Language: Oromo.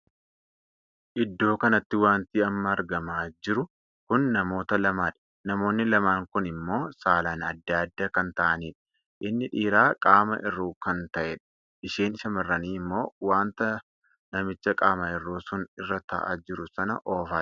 Iddoo kanatti wanti amma argamaa jiru kun namoota lamaadha. namoonni lamaan Kun immoo saalaan addaa addaa kan taa'aniidha. inni dhiiraa qaamaa hirruu kan tahedha. isheen shamarranii ammoo wanta namicha qaama hirruu sun irra taa'aa jiru sana oofaa jirti.